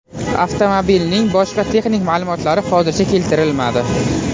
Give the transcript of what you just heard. Avtomobilning boshqa texnik ma’lumotlari hozircha keltirilmadi.